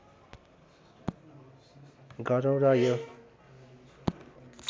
गरौं र यो